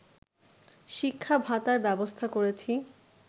শিক্ষা ভাতার ব্যবস্থা করেছি